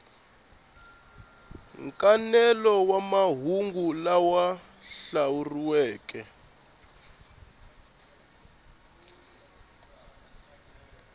nkanelo wa mahungu lama andlariweke